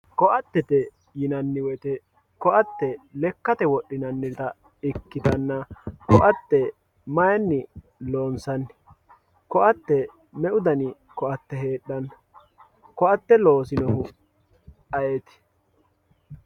KO`atete yinaniwoyite ko`ate lekate wodhinanita ikitana ko`ate mayini loonsani ko`aye me`u dani ko`ate heedhano ko`ate loosinohu ayiti?